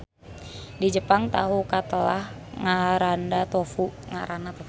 Di Jepang tahu katelah ngaranna tofu.